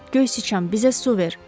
Göy siçan, bizə su ver.